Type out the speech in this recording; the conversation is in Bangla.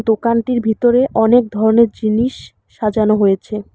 দোকানটির ভিতরে অনেক ধরনের জিনিস সাজানো হয়েছে।